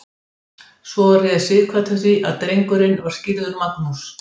Réð svo Sighvatur því að drengurinn var skírður Magnús.